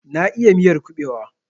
Na iya miyar kubewa.